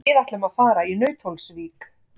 Við ætlum að fara í Nauthólsvík.